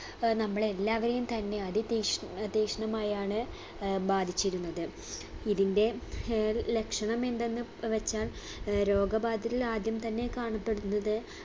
ഏർ നമ്മളെല്ലാവരെയും തന്നെ അതിതീക്ഷ് തീക്ഷ്ണമായാണ് ഏർ ബാധിച്ചിരുന്നത് ഇതിൻറെ ഏർ ലക്ഷണമെന്തെന്ന് വെച്ചാൽ ഏർ രോഗബാധിതരിൽ ആദ്യം തന്നെ കാണപ്പെടുന്നത്